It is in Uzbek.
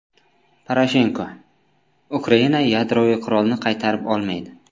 Poroshenko: Ukraina yadroviy qurolni qaytarib olmaydi.